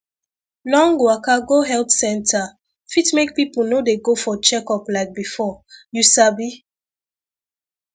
long waka go health center fit make people no dey go for checkup like before you sabi